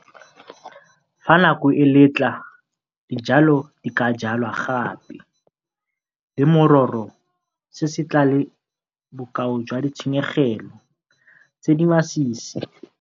Fa nako e letla, dijalo di ka jalwa gape, le mororo se se tla le bokao jwa ditshenyegelo tse di masisi.